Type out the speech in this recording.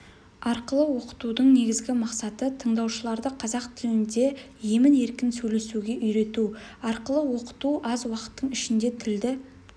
арқылы оқытудың негізгі мақсаты тыңдаушыларды қазақ тілінде емін-еркін сөйлесуге үйрету арқылы оқыту аз уақыттың ішінде тілді